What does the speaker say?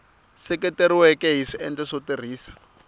seketeriweke hi swiendlo swo tirhisa